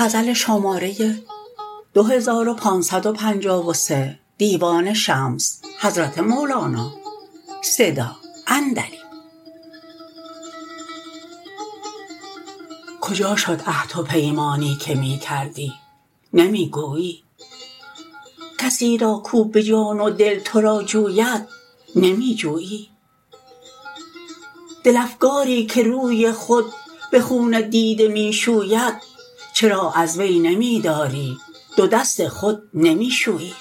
کجا شد عهد و پیمانی که می کردی نمی گویی کسی را کو به جان و دل تو را جوید نمی جویی دل افکاری که روی خود به خون دیده می شوید چرا از وی نمی داری دو دست خود نمی شویی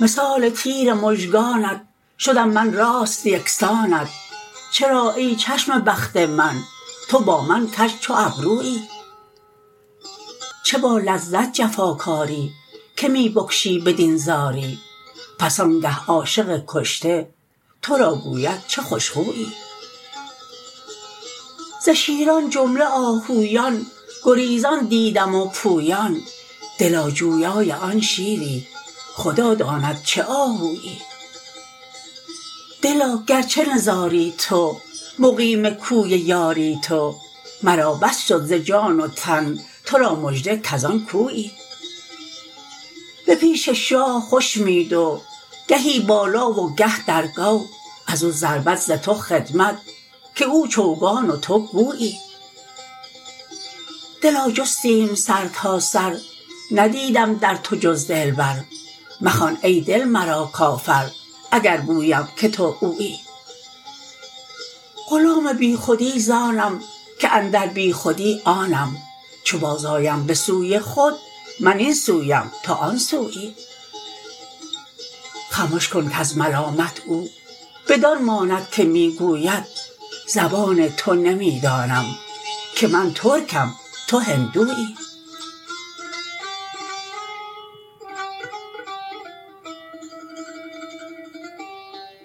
مثال تیر مژگانت شدم من راست یک سانت چرا ای چشم بخت من تو با من کژ چو ابرویی چه با لذت جفاکاری که می بکشی بدین زاری پس آنگه عاشق کشته تو را گوید چه خوش خویی ز شیران جمله آهویان گریزان دیدم و پویان دلا جویای آن شیری خدا داند چه آهویی دلا گرچه نزاری تو مقیم کوی یاری تو مرا بس شد ز جان و تن تو را مژده کز آن کویی به پیش شاه خوش می دو گهی بالا و گه در گو از او ضربت ز تو خدمت که او چوگان و تو گویی دلا جستیم سرتاسر ندیدم در تو جز دلبر مخوان ای دل مرا کافر اگر گویم که تو اویی غلام بیخودی ز آنم که اندر بیخودی آنم چو بازآیم به سوی خود من این سویم تو آن سویی خمش کن کز ملامت او بدان ماند که می گوید زبان تو نمی دانم که من ترکم تو هندویی